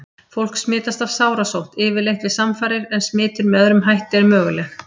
Fólk smitast af sárasótt yfirleitt við samfarir en smitun með öðrum hætti er möguleg.